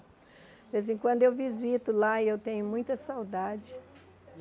Vez em quando eu visito lá e eu tenho muita saudade.